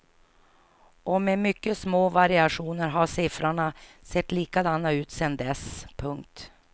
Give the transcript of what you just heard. Och med mycket små variationer har siffrorna sett likadana ut sedan dess. punkt